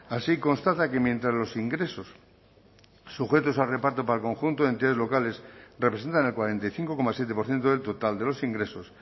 así constata que mientras los ingresos sujetos a reparto para el conjunto de entidades locales representan el cuarenta y cinco coma siete por ciento del total de los ingresos